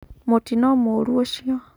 Mũtino mũru ucio.